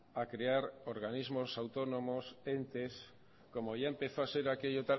a crear organismos autónomos entes como ya empezó a ser aquello